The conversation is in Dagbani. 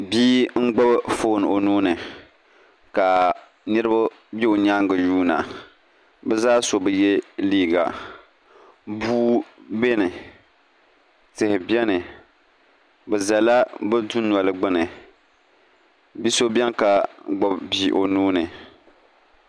bia n-gbubi foon o nuu ni ka niriba be o nyaaŋa n-yuuna bɛ zaa so bi ye liiga bua beni tihi beni bɛ zala bɛ dunoli gbuni bi' so beni ka gbubi bia o nuu ni